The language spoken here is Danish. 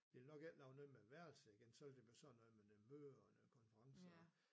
De ville nok ikke lave noget med værelser igen så ville de blive sådan noget med noget møder og noget konferncer og